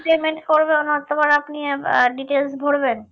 payment করবে অতবার আপনি আবার detail ভোরবেন